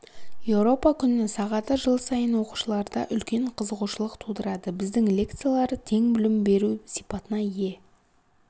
еуропа күні сағаты жыл сайын оқушыларда үлкен қызығушылық тудырады біздің лекциялар тең білім беру сипатына ие